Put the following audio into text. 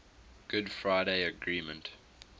good friday agreement